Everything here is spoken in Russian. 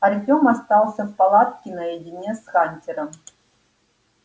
артём остался в палатке наедине с хантером